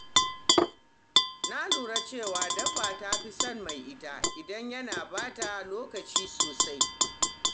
Na lura cewa dabba ta fi son mai ita idan yana ba ta lokaci sosai.